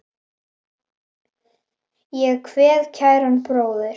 Ég kveð kæran bróður.